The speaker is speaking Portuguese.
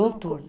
Um turno.